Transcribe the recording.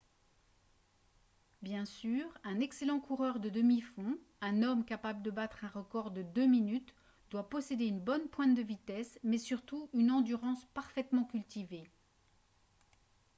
bien sûr un excellent coureur de demi-fond un homme capable de battre un record de deux minutes doit posséder une bonne pointe de vitesse mais surtout une endurance parfaitement cultivée